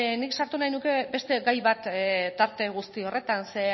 nik sartu nahi nuke beste gai bat tarte guzti horretan zeren